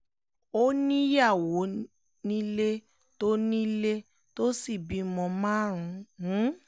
ó níyàwó nílé tó nílé tó sì bímọ márùn-ún